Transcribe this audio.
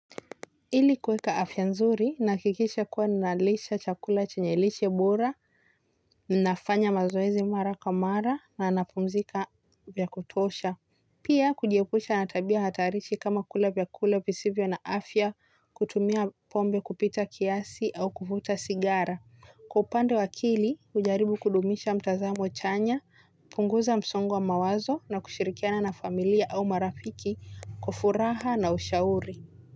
Ili kuweka afya nzuri, nafikisha kuwa ninalisha chakula chenye lishe bora, ninafanya mazoezi mara kwa mara na napumzika vya kutosha. Pia kujiepusha na tabia hatarishi kama kula vyakula visivyo na afya kutumia pombe kupita kiasi au kuvuta sigara. Kwa upande wa akili hujaribu kudumisha mtazamo chanya, punguza msongo wa mawazo na kushirikiana na familia au marafiki kwa furaha na ushauri.